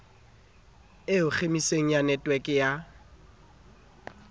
eo khemiseng ya netweke ya